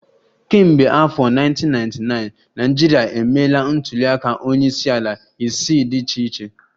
Kemgbe afọ 1999, Naịjirịa emeela ntuliaka onyeisiala isii dị iche iche